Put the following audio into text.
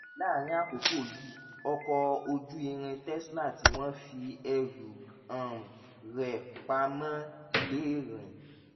láàárín àkókò yìí ọkọ̀ ojú irin tesla tí wọ́n fi ẹrù um rẹ̀ pa mọ́ lè rìn